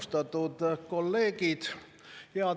Austatud kolleegid!